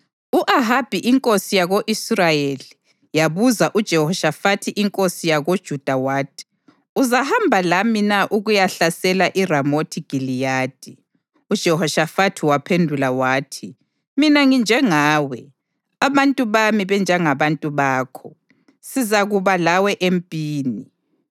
U-Ahabi inkosi yako-Israyeli yabuza uJehoshafathi inkosi yakoJuda wathi: “Uzahamba lami na ukuyahlasela iRamothi Giliyadi?” UJehoshafathi waphendula wathi, “Mina nginjengawe, abantu bami banjengabantu bakho; sizakuba lawe empini.”